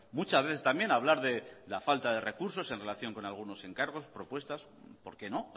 muchas veces también hablar de la falta de recursos en relación con algunos encargos propuestas por qué no